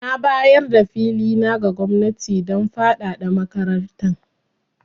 Na bayar da fili na ga gwamnati don fadada makarantar.